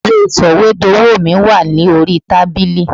Ìwé Sọ̀wédowó mi wà ní orí tábìlì.